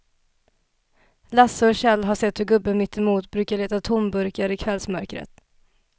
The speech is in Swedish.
Lasse och Kjell har sett hur gubben mittemot brukar leta tomburkar i kvällsmörkret.